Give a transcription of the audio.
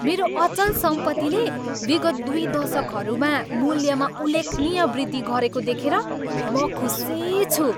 मेरो अचल सम्पत्तिले विगत दुई दशकहरूमा मूल्यमा उल्लेखनीय वृद्धि गरेको देखेर म खुसी छु।